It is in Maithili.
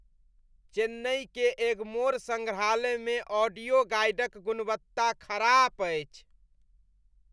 चेन्नई के एग्मोर संग्रहालयमे ऑडियो गाइडक गुणवत्ता खराप अछि।